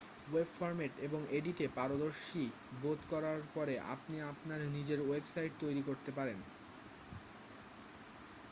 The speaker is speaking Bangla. ওয়েবে ফর্ম্যাট এবং এডিটে পারদর্শী বোধ করার পরে আপনি আপনার নিজের ওয়েবসাইট তৈরি করতে পারেন